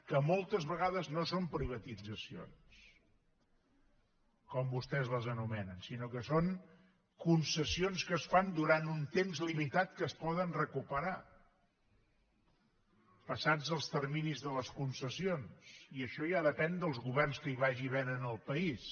que moltes vegades no són privatitzacions com vostès les anomenen sinó que són concessions que es fan durant un temps limitat que es poden recuperar passats els terminis de les concessions i això ja depèn dels governs que hi vagi havent en el país